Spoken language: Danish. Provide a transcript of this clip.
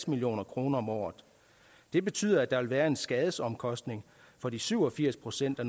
million kroner om året det betyder at der vil være en skadesomkostning for de syv og firs procent af